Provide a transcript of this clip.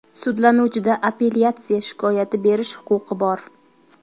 Sudlanuvchida apellyatsiya shikoyati berish huquqi bor.